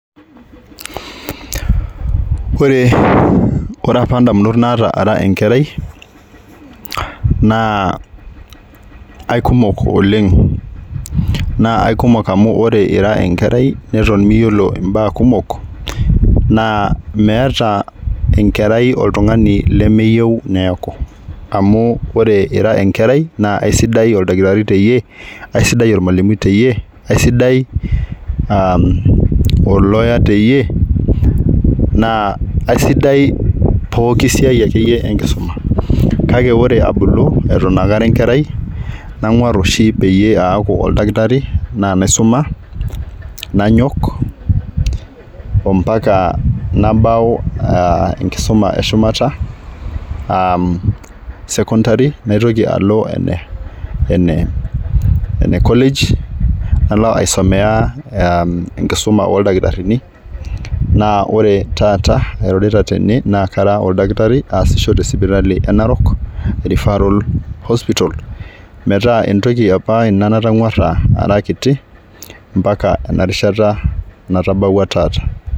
Ore , ore apa ndamunot naata ara enkerai naa aikumok oleng ,naa aikumok amu ore ira enkerai neton miyiolo imbaa kumok naa meeta enkerai oltungani lemeyieu niaku amu ore ira enkerai naa aisidai oldakitari teyie ,aisidai ormwalimui teyie ,aisidai aa olawyer teyie naa aisidai pooki siai akeyie enkisuma. Kake ore eton itu abulu eton aakara enkerai nangwaru oshi paaku kara oldakitari naa naisuma nanyok ompaka nabau aa enkisuma eshumata aa secondary naitoki alo ene ene enecollage nalo aisomea, aa enkisuma oldakitarini naa ore taata airorita tene naa kara oldakitari kaasisho tesipitali enarok referral hospital, metaa entoki apa natangwara ara kiti mpaka enarishata natabawua tata.